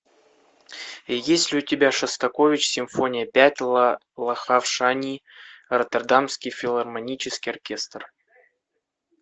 есть ли у тебя шостакович симфония пять лахав шани роттердамский филармонический оркестр